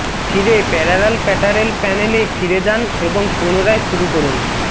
ফিরে প্যারালাল প্যাটারেল প্যানেলে ফিরে যান এবং পুনরায় শুরু করুন